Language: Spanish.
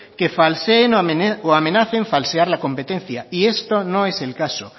que falseen o amenacen falsear la competencia y esto no es el caso